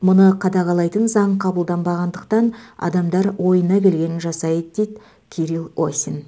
мұны қадағалайтын заң қабылданбағандықтан адамдар ойына келгенін жасайды дейді кирилл осин